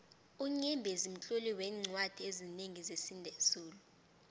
unyembezi mtloli weencwadi ezinengi zesizulu